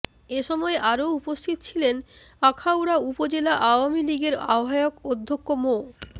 এ সময় আরও উপস্থিত ছিলেন আখাউড়া উপজেলা আওয়ামী লীগের আহ্বায়ক অধ্যক্ষ মো